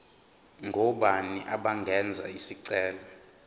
ngobani abangenza isicelo